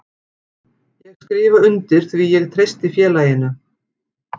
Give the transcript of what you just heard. Ég skrifa undir því ég treysti félaginu.